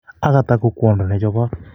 Agatha ko kwondo ne chobot